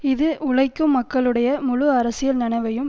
இது உழைக்கும் மக்களுடைய முழு அரசியல் நனவையும்